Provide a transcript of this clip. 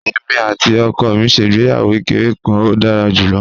Èmi àti ọkọ mi ṣe ìgbéyàwó kékeré kan, ó dára jù lọ